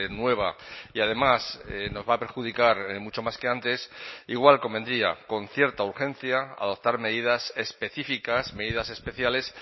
nueva y además nos va a perjudicar mucho más que antes igual convendría con cierta urgencia adoptar medidas específicas medidas especiales